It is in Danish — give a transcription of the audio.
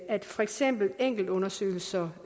at for eksempel enkeltundersøgelser